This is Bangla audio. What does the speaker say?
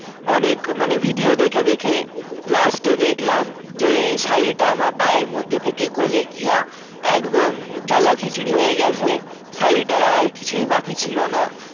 অনেক মানে video দেখে দেখে last এ দেখলাম যে শাড়ীটা আমার পায়ের মধ্যে থেকে গোলেগিয়া একদম জগাখিচুড়ি হয়ে গেছে শাড়ীটার আর কিছুই বাকি ছিল না